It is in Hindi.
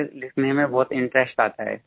मुझे लिखने में बहुत इंटरेस्ट आता है